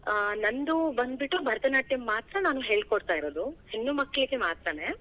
ಆ, ನಂದು ಬಂದ್ಬಿಟ್ಟು ಭರತ ನಾಟ್ಯಂ ಮಾತ್ರ ನಾನ್ ಹೇಳ್ ಕೊಡ್ತಾ ಇರೋದು, ಹೆಣ್ಮಕ್ಕಳಿಗೆ ಮಾತ್ರನೇ.